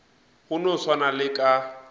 go no swana le ka